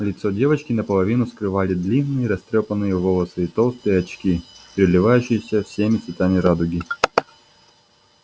лицо девочки наполовину скрывали длинные растрёпанные волосы и толстые очки переливающиеся всеми цветами радуги